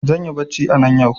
Zanyi bacci anan yau